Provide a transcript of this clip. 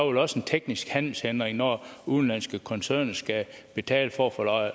vel også en teknisk handelshindring når udenlandske koncerner skal betale for at få